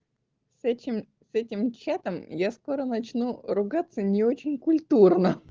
с этим с этим чатом я скоро начну ругаться не очень культурно